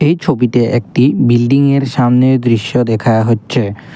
এই ছবিতে একটি বিল্ডিং -এর সামনের দৃশ্য দেখা হচ্ছে।